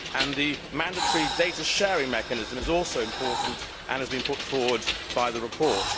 The mandatory data sharing mechanism is also important and has been put forward in the report.